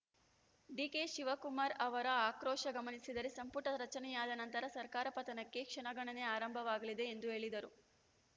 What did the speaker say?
DK Shivakumar ಅವರ ಆಕ್ರೋಶ ಗಮನಿಸಿದರೆ ಸಂಪುಟ ರಚನೆಯಾದ ನಂತರ ಸರ್ಕಾರ ಪತನಕ್ಕೆ ಕ್ಷಣಗಣನೆ ಆರಂಭವಾಗಲಿದೆ ಎಂದು ಹೇಳಿದರು